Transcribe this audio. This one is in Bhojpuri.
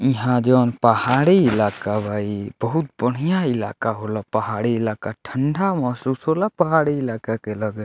इहाँ जउन पहाड़ी इलाका बा ई बहुत बढ़िया इलाका होला पहाड़ी इलाका ठंडा महसूस होला पहाड़ी इलाका के लगे।